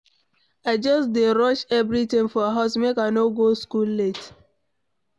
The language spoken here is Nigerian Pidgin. I just dey rush everything for house make I no go school late.